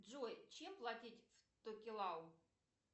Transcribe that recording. джой чем платить в токелау